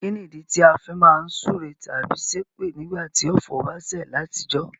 Kínìdí ti a fi má n súre tábí sépè nígbàtí ọ̀fọ̀ ba sẹ̀ látijọ́?